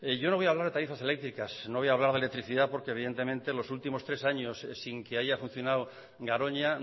yo no voy a hablar de tarifas eléctricas no voy a hablar de electricidad porque evidentemente los últimos tres años sin que haya funcionado garoña